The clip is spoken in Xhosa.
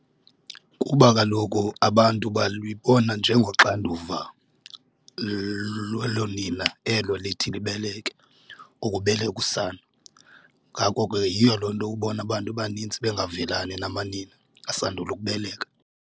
Kuba kaloku abantu balubona njengoxanduva loonina elo lithi libeleke ukubeleka usana, ngako ke yiyo loo nto ubona bantu abanintsi bengavelani namanina asandula ukubeleka.